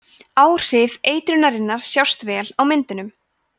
áhrif eitrunarinnar sjást vel á myndunum